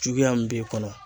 Juguya min b'e kɔnɔ